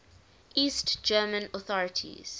east german authorities